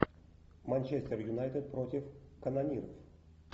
манчестер юнайтед против канониров